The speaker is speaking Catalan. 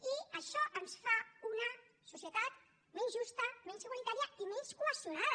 i això ens fa una societat menys justa menys igualitària i menys cohesionada